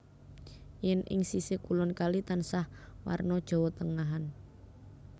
Yèn ing sisih kulon kali tansah warna Jawa Tengahan